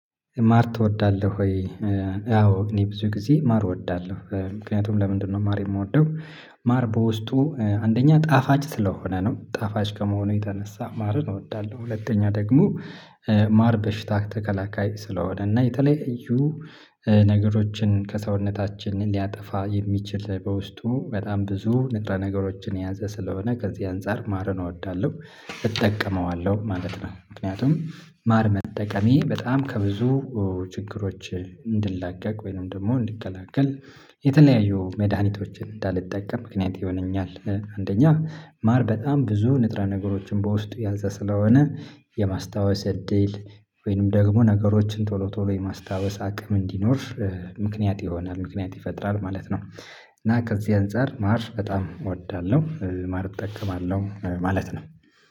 ማር ትወዳለህ ወይ? አዎ እኔ ብዙ ጊዜ ማር እወዳለሁ ምክንያቱም ለምንድነው ማር የምወደው ማር በውስጡ አንደኛ ጣፋጭ ስለሆነ ነው። ጣፋጭ ከመሆኑ የተነሳ ማርን እወዳለሁ። ሁለተኛ ደግሞ ማር በሽታ ተከላካይ ስለሆነ እና የተለያዩ ነገሮችን ከሰውነታችን ሊያጠፋ የሚችል በውስጡ በጣም ብዙ ንጥረ ነገሮችን የያዘ ስለሆነ ከዚህ አንፃር ማርን እወዳለሁ። እጠቀመዋለሁ ማለት ነው። ምክንያቱም ማር መጠቀሜ በጣም ከብዙ ችግሮች እንድላቀቅ ወይንም ደግሞ እንድከላከል የተለያዩ መድሃኒቶችን እንዳልጠቀም ምክንያት ይሆነኛል። አንደኛ ማር በጣም ብዙ ንጥረ ነገሮችን በውስጡ ያዘ ስለሆነ የማስታወስ እድል ወይንም ደግሞ ነገሮችን ቶሎ ቶሎ የማስታወስ አቅም እንዲኖር ምክንያት ይሆናል ምክንያት ይፈጥራል ማለት ነው። እና ከዚህ አንፃር ማር በጣም እወዳለሁ። ማር እጠቀማለሁ ማለት ነው።